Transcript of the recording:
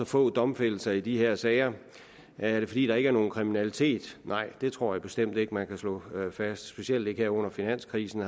få domfældelser i de her sager er det fordi der ikke er nogen kriminalitet nej det tror jeg bestemt ikke at man kan slå fast specielt ikke her under finanskrisen